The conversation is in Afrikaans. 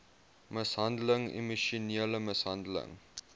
mishandeling emosionele mishandeling